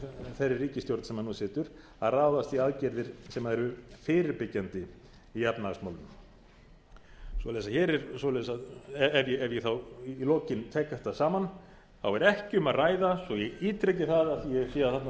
þeirri ríkisstjórn sem nú situr að ráðast í aðgerðir sem eru fyrirbyggjandi í efnahagsmálum svoleiðis ef ég þá í lokin tek þetta saman þá er ekki um að ræða svo ég ítreki það af því ég sé að þarna